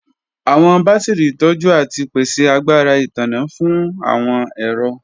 Awọn batiri tọju ati pese agbara itanna fun awọn ẹrọ.